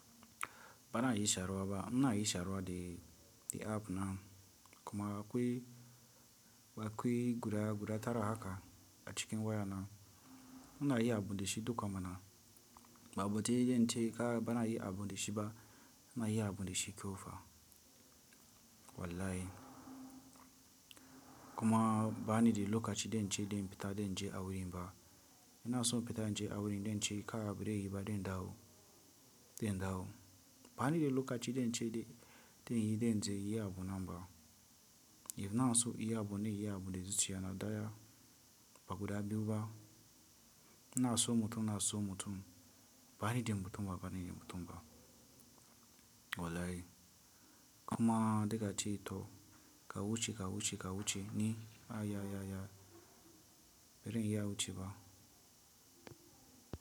Ba na yi sharwa ba. Na yi sharwa the, the app na kuma akwai, akwai guda guda tara haka a cikin waya na. Na yi abun da shi duka mana. Ba botun yace kai ba na yin abu da shi ba. Na yi abun da shi kyau fa. Wallahi. Kuma ba ni da lokaci da in ce, da in fita, da in je a wurin ba. Ina so in fita in je a wurin zan ce kai, bari yi ba, dai ndawo. Dai ndawo. Ba ni da lokaci da in ce, da in yi, da in ce yi abun nan ba. Ina so yi abune, yi abu da zuciya na daya. Ba guda biyu ba. Na so mutum, na so mutum. Ba ni da mutumba, ba ni da mutumba. Wallahi. Kuma duka ce, to ka wuce, ka wuce, ka wuce ni. A ya, ya, ya. Bari in yi ya wuce ba.